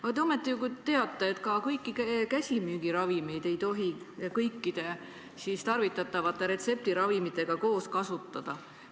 Aga te ometi ju teate, et kõiki käsimüügiravimeid ei tohi kõikide tarvitatavate retseptiravimitega koos kasutada.